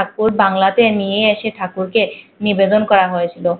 আহ বাংলা তে নিয়ে আসে ঠাকুর কে নিবেদন করা হয়েওছিলো